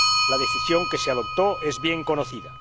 La decisión que se adoptó es bien conocida.